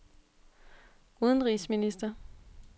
udenrigsminister